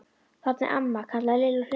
Þarna er amma! kallaði Lilla á hlaupunum.